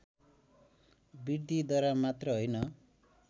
वृद्धिद्वारा मात्र होइन